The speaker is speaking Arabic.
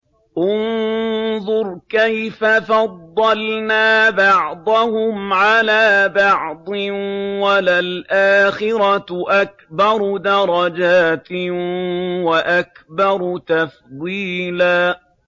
انظُرْ كَيْفَ فَضَّلْنَا بَعْضَهُمْ عَلَىٰ بَعْضٍ ۚ وَلَلْآخِرَةُ أَكْبَرُ دَرَجَاتٍ وَأَكْبَرُ تَفْضِيلًا